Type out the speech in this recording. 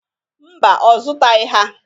Mba, ọ zụtaghị ha.